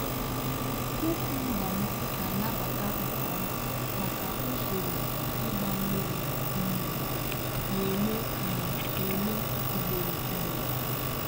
kukumba m na-anabata nke ọma maka usoro ịgba mmiri um na-eme um na-eme ugboro ugboro.